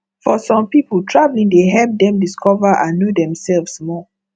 for some people traveling dey help them discover and know themselves more